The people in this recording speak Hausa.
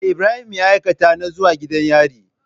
Me Ibrahim ya aikata na zuwa gidan yari?